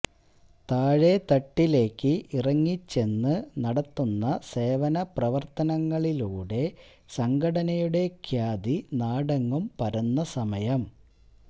താഴേതട്ടിലേക്ക് ഇറങ്ങിച്ചെന്ന് നടത്തുന്ന സേവന പ്രവര്ത്തനങ്ങളിലൂടെ സംഘടനയുടെ ഖ്യാതി നാടെങ്ങും പരന്ന സമയം